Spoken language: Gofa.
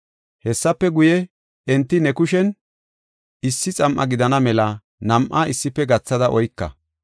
Hessafe guye, enti ne kushen issi xam7a gidana mela nam7a issife gathada oyka.